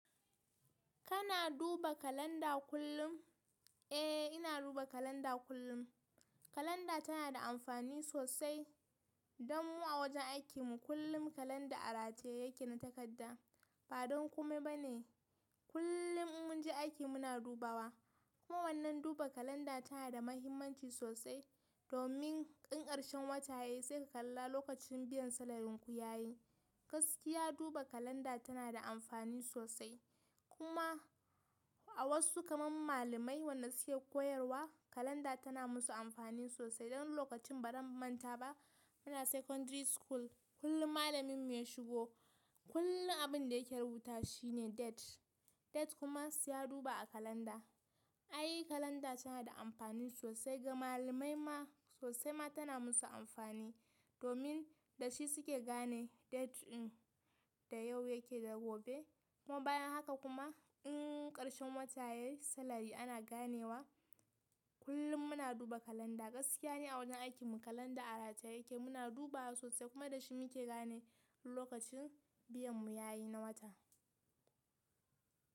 Kana duba kalanda kullum? Eh, ina duba kalanda kullum. Kalanda tana da amfani sosai don mu a wajen aikinmu. Kullum kalanda a rataye yake na takadda. Ba don kume ba ne. Kullum in mun je aiki muna dubawa. Kuma wannan duba kalanda tana da mahimmanci sosai domin in ƙarshen wata yayi sai ka kalla lokacin biyan salarin ku yayi. Gaskiya duba kalanda tana da amfani sosai. Kuma a wasu kamar malamai wannan suke koyarwa, kalanda tana musu amfani sosai. Dan lokacin ba zan manta ba. Muna secondary school, kullum malamin mu ya shigo, kullum abin da yake rubuta shine date. Date kuma sai ya duba a kalanda. Ai kalanda tana da amfani sosai ga malamai ma sosai ma tana musu amfani. Domin da shi suke gane date din da yau yake da gobe. Kuma bayan haka kuma in ƙarshen wata yayi, salari ana ganewa. Kullum muna duba kalanda. Gaskiya ni a wajen aikinmu kalanda a rataye yake muna dubawa sosai kuma da shi muke gane lokacin biyan mu yayi na wata.